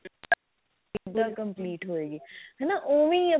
ਦਾ complete ਹੋਏਗੀ ਹਨਾ ਓਵੇਂ ਹੀ